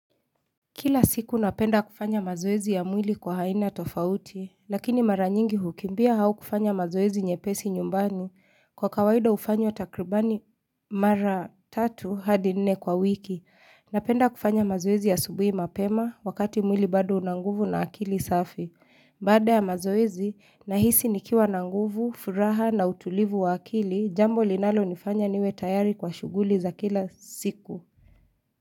Kila siku napenda kufanya mazoezi ya mwili kwa haina tofauti, lakini mara nyingi ukimbia hauwezi kufanya mazoezi nye pesi nyumbani kwa kawaida ufanywa takribani mara tatu hadi nene kwa wiki. Napenda kufanya mazoezi ya asubuhi mapema wakati mwili bado unanguvu na akili safi. Baada ya mazoezi, nahisi nikiwa na nguvu, furaha na utulivu wa akili, jambo linalo nifanya niwe tayari kwa shughuli za kila siku.